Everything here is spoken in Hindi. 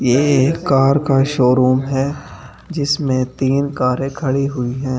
ये कार का शोरूम है जिसमें तीन कारें खड़ी हुई हैं।